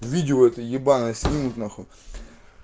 видео это ебанное снимут нахуй